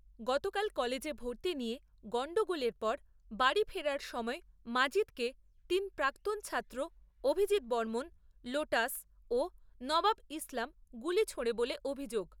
গতকাল কলেজে ভর্তি নিয়ে গণ্ডগোলের পর বাড়ি ফেরার সময় মাজিদকে তিন প্রাক্তন ছাত্র অভিজিত বর্মণ, লোটাস ও নবাব ইসলাম গুলি ছোঁড়ে বলে অভিযোগ।